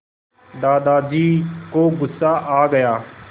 दादाजी को गुस्सा आ गया